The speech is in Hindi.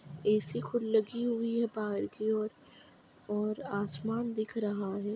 ऐ_सी खुद लगि हुइ है बाहर कि ओर और आसमन दिख रहा है।